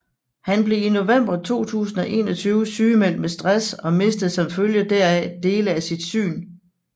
Han blev i november 2021 sygemeldt med stress og mistede som følge heraf dele af sit syn